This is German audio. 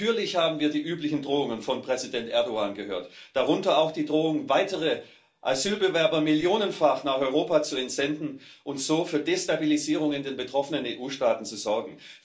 Natürlich haben wir die üblichen Drohungen von Präsident Erdoğan gehört, darunter auch die Drohung, weitere Asylbewerber millionenfach nach Europa zu entsenden und so für Destabilisierung in den betroffenen EU Staaten zu sorgen.